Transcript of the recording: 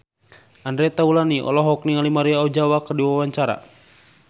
Andre Taulany olohok ningali Maria Ozawa keur diwawancara